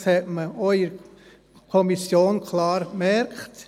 Das hat man auch in der Kommission klar gemerkt.